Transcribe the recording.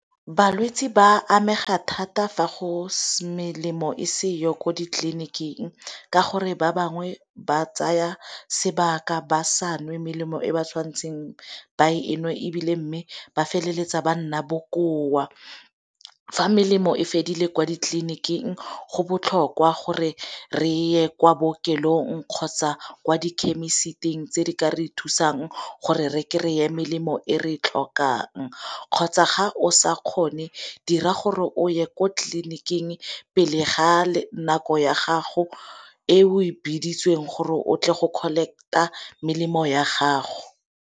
Balwetsi ba amega thata fa melemo e seyo ko ditleliniking ka gore ba bangwe ba tsaya sebaka ba sa nwe melemo e ba tshwantseng ba e nwe ebile mme ba feleletsa ba nna bokoa, fa melemo e fedile kwa ditleliniking go botlhokwa gore ye kwa bookelong kgotsa kwa di-chemist-ing tse di ka re thusang gore re kry-e melemo e re e tlhokang kgotsa ga o sa kgone dira gore o ye ko tleliniking pele ga nako ya gago e o e bitswang gore o tle go kgotsa collect-a melemo ya gago.